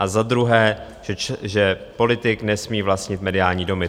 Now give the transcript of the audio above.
A za druhé, že politik nesmí vlastnit mediální domy.